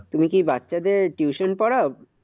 তুমি কি বাচ্চাদের tuition পড়াও?